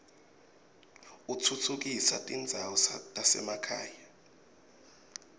utfutfukisa tindzawo tasemakhaya